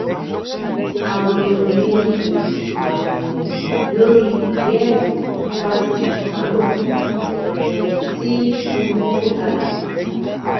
awuyewuye dìde um lórí ìwéẹrí fáṣítì chicago um tí tinubu kọ kalẹ